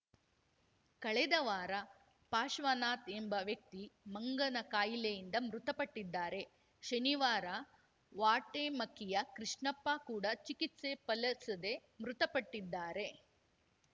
ಕಳೆದ ವಾರ ಪಾಶ್ವನಾಥ್‌ ಎಂಬ ವ್ಯಕ್ತಿ ಮಂಗನಕಾಯಿಲೆಯಿಂದ ಮೃತಪಟ್ಟಿದ್ದಾರೆ ಶನಿವಾರ ವಾಟೆಮಕ್ಕಿಯ ಕೃಷ್ಣಪ್ಪ ಕೂಡ ಚಿಕಿತ್ಸೆ ಫಲಸದೆ ಮೃತಪಟ್ಟಿದ್ದಾರೆ